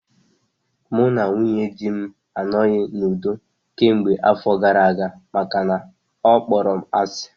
Mụ na nwunye dị m anoghi n'udo kemgbe afọ gara aga makana ọ kpọrọ m asị